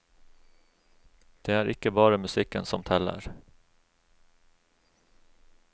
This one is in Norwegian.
Det er ikke bare musikken som teller.